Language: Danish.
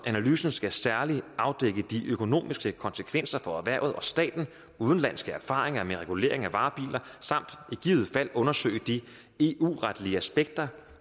analysen skal særligt afdække de økonomiske konsekvenser for erhvervet og staten udenlandske erfaringer med regulering af varebiler samt i givet fald undersøge de eu retlige aspekter